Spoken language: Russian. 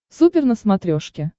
супер на смотрешке